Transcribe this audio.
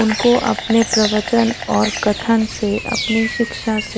उनको अपने प्रवचन और कथन से अपनी शिक्षा से--